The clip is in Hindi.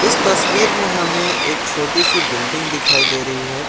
इस तस्वीर में हमें एक छोटी सी बिल्डिंग दिखाई दे रही है।